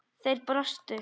Þeir brostu.